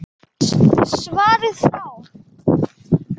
Svarið frá